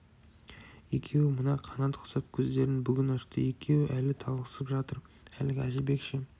екеуі мына қанат құсап көздерін бүгін ашты екеуі әлі талықсып жатыр әлгі әжібек ше